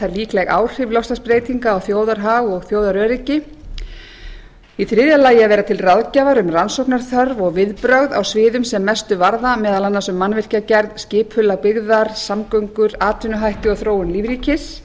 líkleg áhrif loftslagsbreytinga á þjóðarhag og þjóðaröryggi c að vera til ráðgjafar um rannsóknaþörf og viðbrögð á sviðum sem mestu varða meðal annars um mannvirkjagerð skipulag byggðar samgöngur atvinnuhætti og þróun lífríkis